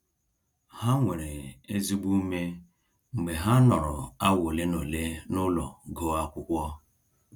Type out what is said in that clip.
Ha nwere ezigbo ume mgbe ha nọrọ awa ole na ole n'ụlọ gụọ akwụkwọ.